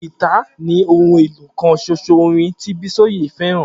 Gìtá ni ohun èlò kan ṣoṣo orin tí Bísóyè fẹ́ràn